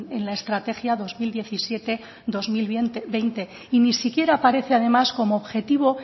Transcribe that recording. en la estrategia dos mil diecisiete dos mil veinte y ni siquiera aparece además como objetivo